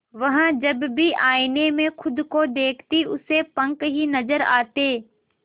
वह जब भी आईने में खुद को देखती उसे पंख ही नजर आते